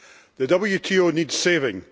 The WTO needs saving.